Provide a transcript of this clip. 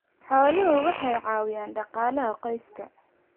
Xooluhu waxay caawiyaan dhaqaalaha qoyska.